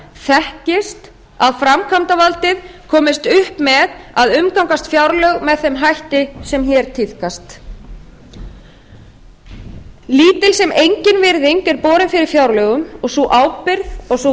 þekkist að framkvæmdavaldið komist upp með að umgangast fjárlög með þeim hætti sem hér tíðkast lítil sem engin virðing er borin fyrir fjárlögum og sú ábyrgð og sú